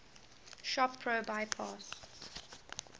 shop pro bypass